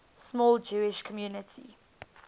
small jewish community